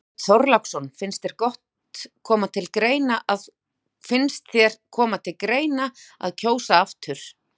Björn Þorláksson: Finnst þér koma til greina að kjósa aftur?